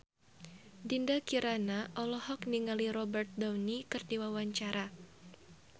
Dinda Kirana olohok ningali Robert Downey keur diwawancara